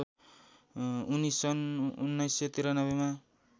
उनी सन् १९९३ मा